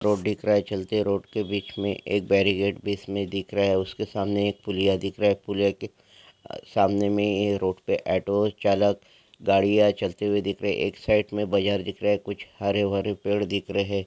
Road दिखा रहा हैं चलते रोड के बीच में एक बेरिगेट इसमे दिख रहा हैं उसके सामने एक पूलिया दिख रहा हैं पूलिया के अह सामने मे ये रोड पे ॲटो चालक गाड़िया चलते हुए दिख रहे हैं एक साइट में बजार दिख रहा हैं। कुछ हरे-भरे पेड़ दिख रहे है।